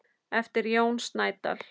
eftir Jón Snædal.